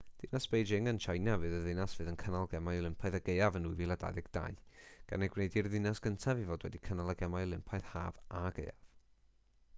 dinas beijing yn tsieina fydd y ddinas fydd yn cynnal gemau olympaidd y gaeaf yn 2022 gan ei gwneud hi'r ddinas gyntaf i fod wedi cynnal y gemau olympaidd haf a gaeaf